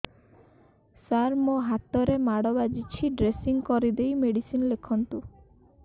ସାର ମୋ ହାତରେ ମାଡ଼ ବାଜିଛି ଡ୍ରେସିଂ କରିଦେଇ ମେଡିସିନ ଲେଖନ୍ତୁ